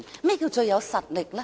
何謂最有實力？